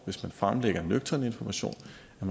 hvis man fremlægger nøgtern information